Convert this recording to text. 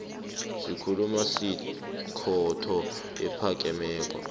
sikhulu sekhotho ephakemeko